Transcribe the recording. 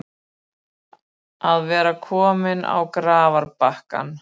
Að vera kominn á grafarbakkann